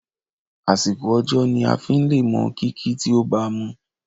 Àsìkò ọjọ́ ni aa fí le mọ kìkì tí o bamu.